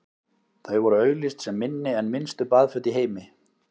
þau voru auglýst sem „minni en minnstu baðföt í heimi“